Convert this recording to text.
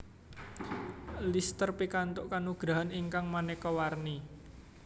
Lister pikantuk kanugrahan ingkang maneka warni